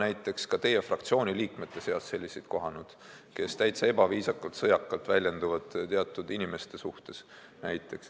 Ma olen ka teie fraktsiooni liikmete seas kohanud selliseid, kes teatud inimeste suhtes väga ebaviisakalt ja sõjakalt väljenduvad.